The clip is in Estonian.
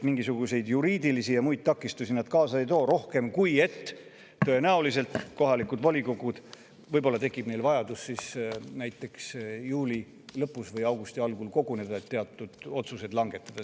Mingisuguseid juriidilisi ja muid takistusi nad kaasa ei too, tõenäoliselt tekib kohalikel volikogudel ainult vajadus näiteks juuli lõpus või augusti algul koguneda, et teatud otsuseid langetada.